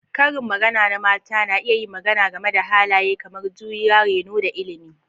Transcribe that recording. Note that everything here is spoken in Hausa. Karin magana na mata na iya yin magana game da halaye kamar juriya, reno, da ilimi.